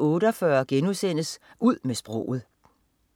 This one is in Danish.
04.48 Ud med sproget*